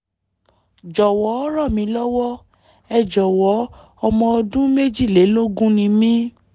(jọ̀wọ́ ràn mí lọ́wọ́! ẹ jọ̀wọ́ ọmọ ọdún méjìlélógún ni mí!